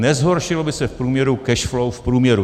Nezhoršilo by se v průměru cash flow v průměru.